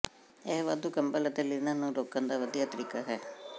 ਇਹ ਵਾਧੂ ਕੰਬਲ ਅਤੇ ਲਿਨਨ ਨੂੰ ਰੋਕਣ ਦਾ ਵਧੀਆ ਤਰੀਕਾ ਹੈ